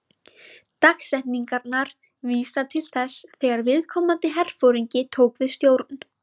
Dagsetningarnar vísa til þess þegar viðkomandi herforingi tók við stjórn.